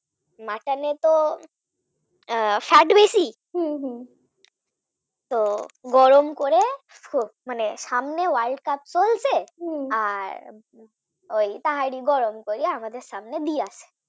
Mutton এ তো fat বেশি তো গরম করে মানে সামনে world cup চলছে তাহারে গরম করে আমাদের সামনে দিয়েছিল